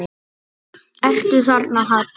Ertu þarna, Halla mín?